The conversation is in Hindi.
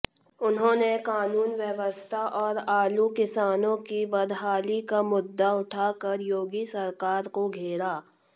उन्होंने कानून व्यवस्था और आलू किसानों की बदहाली का मुद्दा उठाकर योगी सरकार को घेरा